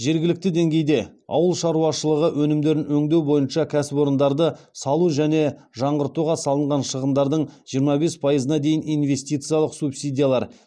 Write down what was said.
жергілікті деңгейде ауыл шаруашылығы өнімдерін өңдеу бойынша кәсіпорындарды салу және жаңғыртуға салынған шығындардың жиырма бес пайызына дейін инвестициялық субсидиялар